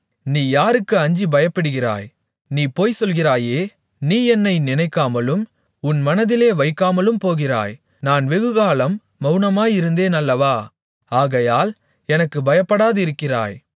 நீ யாருக்கு அஞ்சிப் பயப்படுகிறாய் நீ பொய்சொல்கிறாயே நீ என்னை நினைக்காமலும் உன் மனதிலே வைக்காமலும்போகிறாய் நான் வெகுகாலம் மவுனமாயிருந்தேன் அல்லவா ஆகையால் எனக்குப் பயப்படாதிருக்கிறாய்